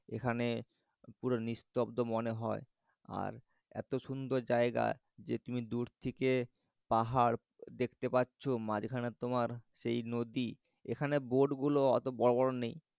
এখানে পুরো নিস্তব্ধ মনে হয়। আর এত সুন্দর জায়গা যে তুমি দূর থেকে পাহাড় দেখতে পাচ্ছ মাঝখানে তো তোমার সেই নদী এখানে boat গুলো অত বড় বড় নেই।